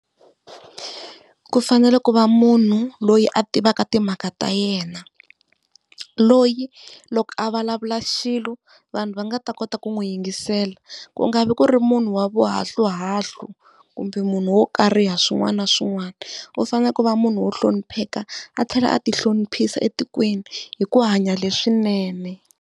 Ku fanele ku va munhu loyi a tivaka timhaka ta yena, loyi loko a vulavula xilo vanhu va nga ta kota ku n'wi yingisela. Ku nga vi ku ri munhu wa vuhahluhahlu kumbe munhu wo kariha swin'wana na swin'wana. U fanele ku va munhu wo hlonipheka a tlhela a ti hloniphisa etikweni hi ku hanya leswinene.